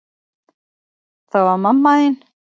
Það var mamma þín.